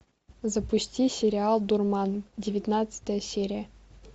запусти сериал дурман девятнадцатая серия